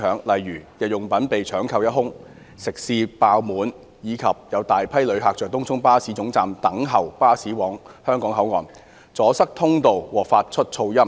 例如，日用品被搶購一空、食肆爆滿，以及有大批遊客在東涌巴士總站等候巴士往香港口岸，阻塞通道和發出噪音。